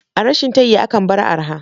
A rashin tayi akan bar arha